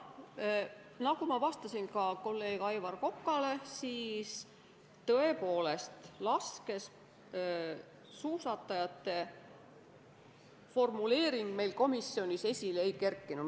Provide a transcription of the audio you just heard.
Jah, nagu ma vastasin ka kolleeg Aivar Kokale, siis tõepoolest, laskesuusatajate formuleering meil komisjonis esile ei kerkinud.